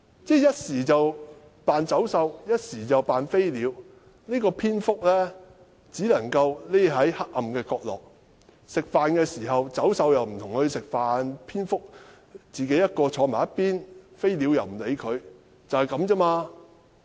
他一時扮走獸，一時又扮飛鳥，蝙蝠只是躲在黑暗的角色，走獸不會與牠一起吃飯，蝙蝠獨自坐在一旁，飛鳥亦不理睬牠，就是這樣子。